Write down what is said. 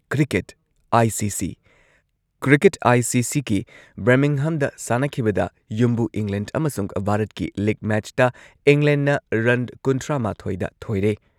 Cricket ICC.- cricket ꯑꯥꯢ.ꯁꯤ.ꯁꯤ.ꯒꯤ ꯕꯔꯃꯤꯡꯍꯝꯗ ꯁꯥꯟꯅꯈꯤꯕꯗ ꯌꯨꯝꯕꯨ ꯏꯪꯂꯦꯟꯗ ꯑꯃꯁꯨꯡ ꯚꯥꯔꯠꯀꯤ ꯂꯤꯒ ꯃꯦꯆꯇ ꯏꯪꯂꯦꯟꯗꯅ ꯔꯟ ꯀꯨꯟꯊ꯭ꯔꯥꯃꯥꯊꯣꯏꯗ ꯊꯣꯏꯔꯦ꯫